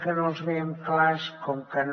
que no els veiem clars com que no